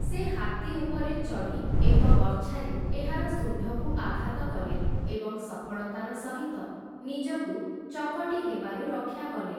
ସେ ହାତୀ ଉପରେ ଚଢ଼ି ଏକ ବର୍ଚ୍ଛାରେ ଏହାର ଶୁଣ୍ଢକୁ ଆଘାତ କଲେ, ଏବଂ ସଫଳତାର ସହିତ ନିଜକୁ ଚକଟି ହେବାରୁ ରକ୍ଷା କଲେ ।